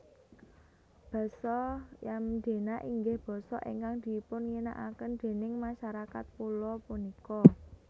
Basa Yamdena inggih basa ingkang dipunginakaken déning masarakat pulo punika